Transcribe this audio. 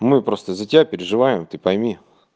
мы просто за тебя переживаем ты пойми